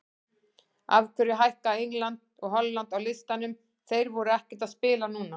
Af hverju hækka England og Holland á listanum, þeir voru ekkert að spila núna?